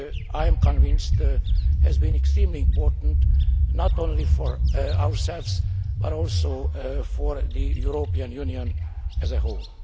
I am convinced has been extremely important, not only for ourselves, but also for the European Union as a whole.